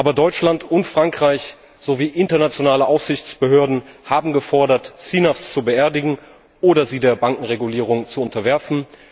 Aber Deutschland und Frankreich sowie internationale Aufsichtsbehörden haben gefordert, CNAVs zu beerdigen oder sie der Bankenregulierung zu unterwerfen.